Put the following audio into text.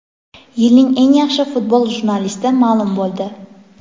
Yilning eng yaxshi futbol jurnalisti ma’lum bo‘ldi.